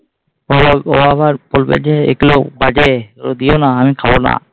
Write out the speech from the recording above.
ও আবার ও আবার বলবে যে এগুলো বাজে এগুলো দিও না আমি খাবো না।